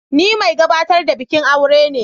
Ni mai gabatar da bikin aure ne.